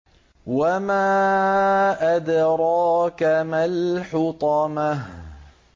وَمَا أَدْرَاكَ مَا الْحُطَمَةُ